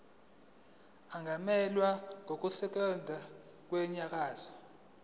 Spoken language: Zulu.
angamelwa ngonesikhundla kwinyunyane